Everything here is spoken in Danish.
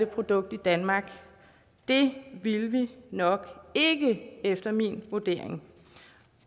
produkt i danmark det ville vi nok ikke efter min vurdering